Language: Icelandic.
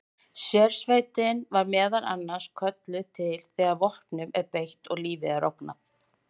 Sérsveitin er meðal annars kölluð til þegar vopnum er beitt og lífi er ógnað.